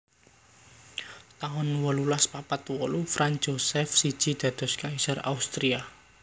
taun wolulas papat wolu Franz Josef siji dados kaisar Austria